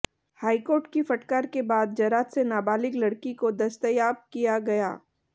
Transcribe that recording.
high court की फटकार के बाद जरात से नाबालिग लड़की को दस्तयाब किया गया